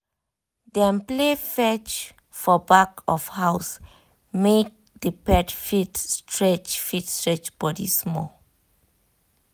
dem play fetch for back of house make the pet fit stretch fit stretch body small.